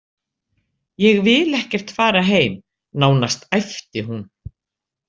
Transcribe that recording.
Ég vil ekkert fara heim, nánast æpti hún.